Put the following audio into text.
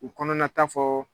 U kɔnɔnata fɔ